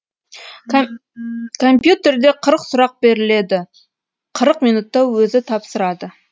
компьютерде қырық сұрақ беріледі қырық минутта өзі тапсырады